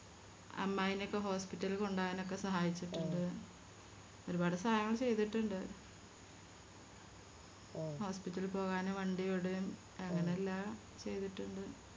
അമ്മായിനൊക്കെ Hospital ല് കൊണ്ടോവാനൊക്കെ സഹായിച്ചിട്ടിണ്ട് ഒരുപാട് സഹായങ്ങള് ചെയ്തിട്ടുണ്ട് Hospital പോകാനും വണ്ടി വിടേം അങ്ങനെ എല്ലാം ചെയ്തിട്ടുണ്ട്